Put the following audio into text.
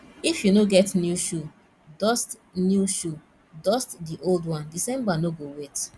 if you no get new shoe dust new shoe dust the old one december no go wait